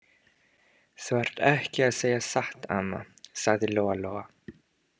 Þú ert ekki að segja satt, amma, sagði Lóa-Lóa.